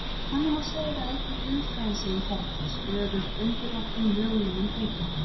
Þannig má segja að einnig guðfræðin sé í ferli, stöðugt undirorpin mögulegum breytingum.